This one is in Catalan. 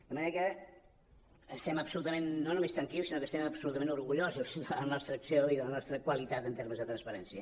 de manera que estem absolutament no només més tranquils sinó que estem absolutament orgullosos de la nostra acció i de la nostra qualitat en termes de transparència